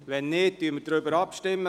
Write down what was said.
– Wenn nicht, stimmen wir darüber ab.